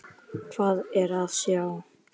Hvað er að sjá